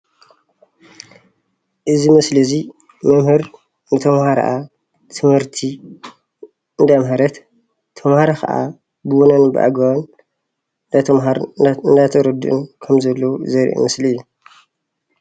እዚ ምስሊ እዙይ ንተማሃሪኣ ትምህርቲ እንዳምሀረት ተማሃሮ ከኣ ብውነን ብኣግበቡን እናተማሃሩን እናተረዱኡን ከም ዘለዉ ዘርኢ ምስሊ እዩ፡፡